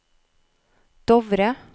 Dovre